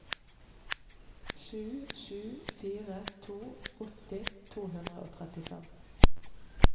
sju sju fire to åtti to hundre og trettifem